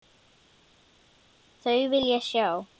Þau vil ég sjá.